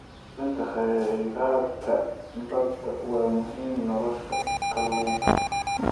Ilaalinta kheyraadka badda waa muhiim nolosha kalluunka.